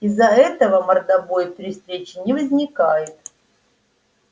из-за этого мордобой при встрече не возникает